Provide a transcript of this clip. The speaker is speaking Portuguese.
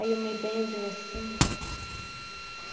Aí eu me benzo assim e rezo.